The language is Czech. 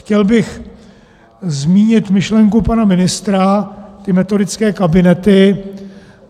Chtěl bych zmínit myšlenku pana ministra - ty metodické kabinety.